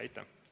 Aitäh!